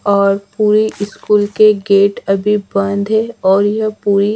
और पूरी स्कूल के गेट अभी बंद है और यह पूरी --